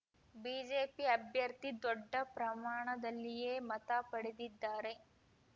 BJP ಅಭ್ಯರ್ಥಿ ದೊಡ್ಡ ಪ್ರಮಾಣದಲ್ಲಿಯೆ ಮತ ಪಡೆದಿದ್ದಾರೆ